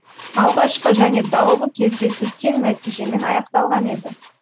алғашқы және даулы кездесу тең нәтижемен аяқталған еді